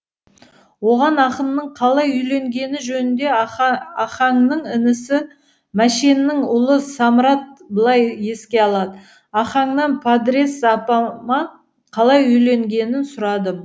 оған ақынның қалай үйленгені жөнінде ахаңның інісі мәшеннің ұлы самырат былай еске алады ахаңнан падрес апама қалай үйленгенін сұрадым